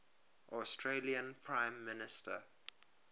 australian prime minister